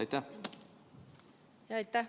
Aitäh!